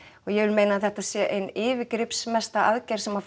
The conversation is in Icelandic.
og ég vil meina að þetta sé ein yfirgripsmesta aðgerð sem